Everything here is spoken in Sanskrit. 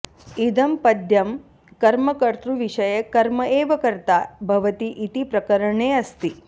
इदं पद्यं कर्मकत्तृविषये कर्म एव कर्ता भवति इति प्रकरणेऽस्ति